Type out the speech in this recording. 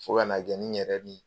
Fo kana kɛ ni n yɛrɛ bi